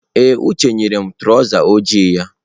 Ee, Uche nyere m traụza ojii ya.